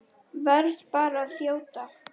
Verð bara að þjóta!